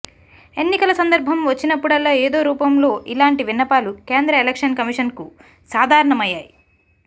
ఎన్నికల సందర్భం వచ్చినప్పుడల్లా ఏదో రూపం లో ఇలాంటి విన్నపాలు కేంద్ర ఎలక్షన్ కమిషన్కు సాధారణమయ్యాయి